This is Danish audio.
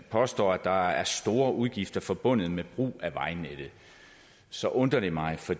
påstår at der er store udgifter forbundet med brug af vejnettet så undrer det mig for